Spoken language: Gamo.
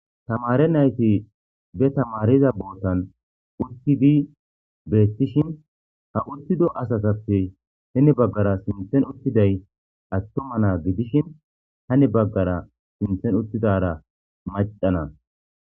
tamare nayti be tamariza bootan uttidi beettishin ha uttido asatappe hini baggara sinten uttiday attuma naa gidishin hani baggara sinthen uttidara maccana